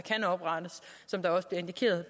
blev indikeret